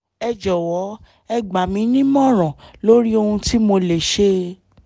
ẹ jọ̀wọ́ ẹ gbà mí nímọ̀ràn lórí ohun tí mo lè ṣe